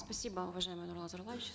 спасибо уважаемый нурлан зайроллаевич